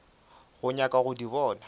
go nyaka go di bona